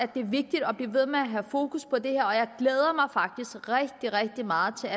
det er vigtigt at blive ved med at have fokus på det her og jeg glæder mig faktisk rigtig rigtig meget til